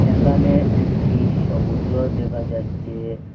এখানে একটি সমুদ্র দেখা যাচ্ছে।